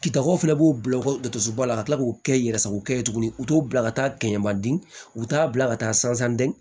Kitakow fɛnɛ b'o bila u ka dusu bɔ ka tila k'o kɛ i yɛrɛ sago kɛ tuguni u t'o bila ka taa kɛɲɛmadon u bɛ taa bila ka taa san dɛn